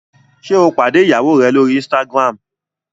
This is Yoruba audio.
ṣe o pàdé ìyàwó rẹ l'ori Instagram?